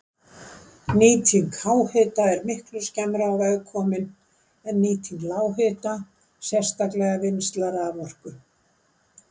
Nýting háhita er miklu skemmra á veg komin en nýting lághita, sérstaklega vinnsla raforku.